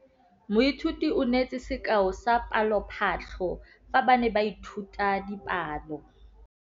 Moithuti o neetse sekaô sa palophatlo fa ba ne ba ithuta dipalo.